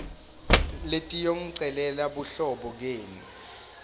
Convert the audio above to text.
letiyongicelela buhlobo kenu